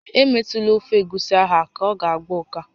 Emetụla ofe egusi ahụ aka, ọ ga-agba ụká!